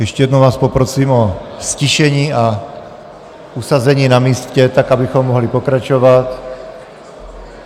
Ještě jednou vás poprosím o ztišení a usazení na místě, tak abychom mohli pokračovat.